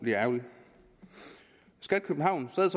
ærgerligt skat københavn sad